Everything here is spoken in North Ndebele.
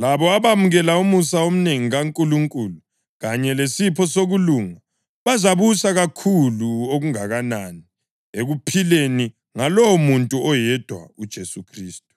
labo abamukela umusa omnengi kaNkulunkulu kanye lesipho sokulunga bazabusa kakhulu okungakanani ekuphileni ngalowomuntu oyedwa uJesu Khristu.